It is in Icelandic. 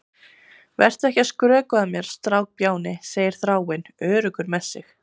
Vertu ekki að skrökva að mér, strákbjáni, segir Þráinn, öruggur með sig.